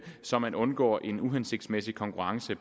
så man undgår en uhensigtsmæssig konkurrence